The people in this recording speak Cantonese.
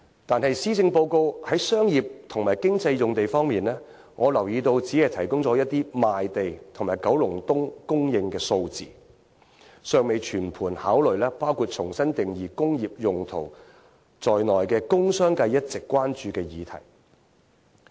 但是，施政報告在商業及經濟用地方面，我留意到只是提供了一些賣地及九龍東供應量的數字，尚未全盤考慮包括重新定義"工業用途"在內的工商界一直關注的議題。